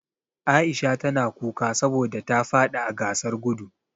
Aisha ta na kuka saboda ta fadi a gasar gudu.